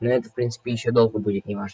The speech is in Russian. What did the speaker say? ну это в принципе ещё долго будет не ваше